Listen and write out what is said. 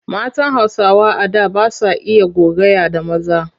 Matan Hausawa a da ba sa iya gogayya da maza.